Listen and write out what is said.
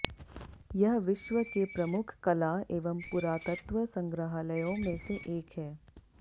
यह विश्व के प्रमुख कला एवं पुरातत्व संग्रहालयों में से एक है